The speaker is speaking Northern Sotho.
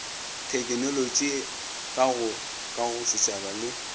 thekenolotšo ka go kagosetšhaba le